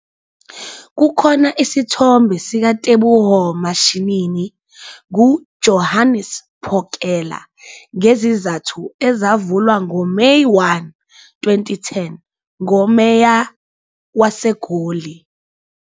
Kukhona isithombe sikaTeboho Mashinini nguJohannes Phokela ngezizathu ezavulwa ngoMeyi 1, 2010 ngoMeya waseGoli.